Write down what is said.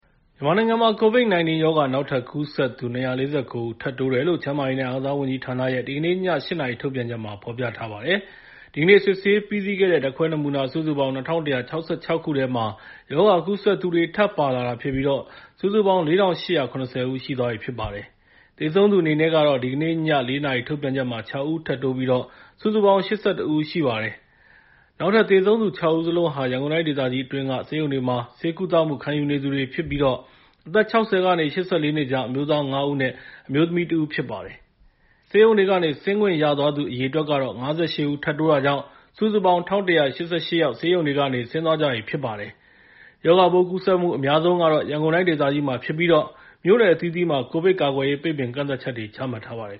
မြန်မာနိုင်ငံမှာ COVID-19 ရောဂါ နောက်ထပ်ကူးစက်သူ ၂၄၉ ဦး ထပ်တိုးတယ်လို့ ကျန်းမာရေးနဲ့ အားကစားဝန်ကြီးဌာနရဲ့ ဒီကနေ့ည ၈ နာရီ ထုတ်ပြန်ချက်မှာ ဖော်ပြထားပါတယ်။ ဒီကနေ့ စစ်ဆေးပြီးစီးခဲ့တဲ့ ဓာတ်ခွဲနမူနာ စုစုပေါင်း ၂,၁၆၆ ခုထဲမှာ ရောဂါကူးစက်သူတွေ ထပ်ပါလာတာဖြစ်ပြီး စုစုပေါင်း ၄,၈၇၀ ဦး ရှိသွားပြီဖြစ်ပါတယ်။ သေဆုံးသူအနေနဲ့ကတော့ ဒီကနေ့ညနေ ၄ နာရီ ထုတ်ပြန်ချက်မှာ ၆ ဦးထပ်တိုးပြီး စုစုပေါင်း ၈၁ ဦး ရှိပါတယ်။ နောက်တိုးသေဆုံးသူ ၆ ဦးစလုံးဟာ ရန်ကုန်တိုင်းဒေသကြီးအတွင်းက ဆေးရုံတွေမှာ ဆေးကုသမှု ခံယူနေသူတွေဖြစ်ပြီး အသက် ၆၀ ကနေ ၈၄ နှစ်ကြား အမျိုးသား ၅ ဦးနဲ့ အမျိုးသမီး ၁ ဦးတို့ ဖြစ်ပါတယ်။ ဆေးရုံတွေကနေ ဆင်းခွင့်ရသွားသူ အရေအတွက်က ၅၈ ဦး ထပ်တိုးတာကြောင့် စုစုပေါင်း ၁,၁၈၈ ယောက် ဆေးရုံတွေကနေ ဆင်းသွားကြပြီ ဖြစ်ပါတယ်။ ရောဂါပိုးကူးစက်မှု အများဆုံးကတော့ ရန်ကုန်တိုင်းဒေသကြီးမှာဖြစ်ပြီး မြို့နယ်အသီးသီးမှာ ကိုဗစ်ကာကွယ်ရေး ပိတ်ပင်ကန့်သတ်ချက်တွေ ချမှတ်ထားပါတယ်